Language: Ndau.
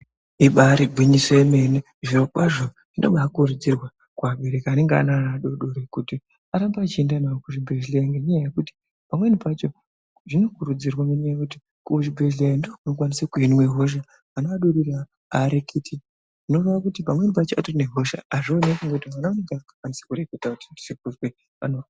Ibarigwinyiso yemene zvirokwazvo zvinobakurudzirwa kuvabereki anenge ane ana adodori kuti arambe echienda navo kuzvibhedhlera. Ngenyaya yekuti pamweni pacho zvinokurudzirwa nenyaya yekuti kuzvibhedhleya ndiko kunokwaniswa kuhinwa hosha ana adodori hareketi. Zvinoreva kuti pamweni pacho patorine hosha hazvioneki nekuti mwana mudoko hakwanisi kureketa kuti ndirikuzwe pano.